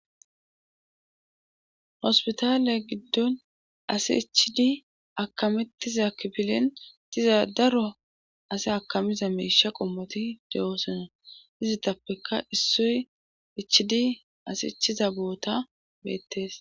hospitaale giddon asi ichidi akamettiza kibilen diza daro asi akamiza meisha qommoti de7oosona izittappeka issoy ichidi asi ichiza boota beettees